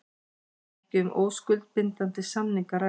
Ekki um óskuldbindandi samning að ræða